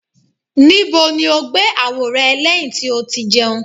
Nibo ni o gbe awo rẹ lẹhin ti o ti jẹun?